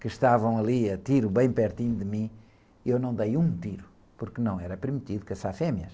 que estavam ali a tiro bem pertinho de mim, eu não dei um tiro, porque não era permitido caçar fêmeas.